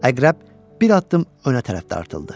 Əqrəb bir addım önə tərəf dartıldı.